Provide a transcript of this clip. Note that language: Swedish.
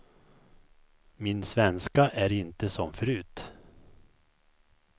Min svenska är inte som förut.